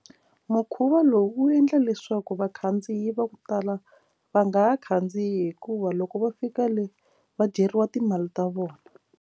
Mukhuva lowu wu endla leswaku vakhandziyi va ku tala va nga ha khandziyi hikuva loko va fika le va dyeriwa timali ta vona.